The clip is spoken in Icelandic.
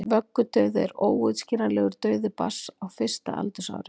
vöggudauði er óútskýranlegur dauði barns á fyrsta aldursári